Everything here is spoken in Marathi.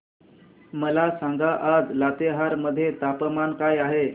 मला सांगा आज लातेहार मध्ये तापमान काय आहे